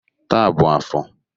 Taa bụ afọ.